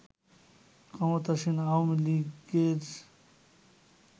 ক্ষমতাসীন আওয়ামী লীগের